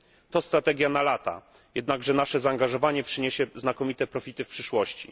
To strategia na lata, jednakże nasze zaangażowanie przyniesie znakomite profity w przyszłości.